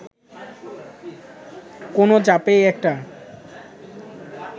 কোন চাপেই এটা